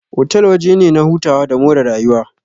Otal waje ne na hutawa da more rayuwa.